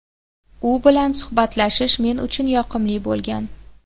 U bilan suhbatlashish men uchun yoqimli bo‘lgan.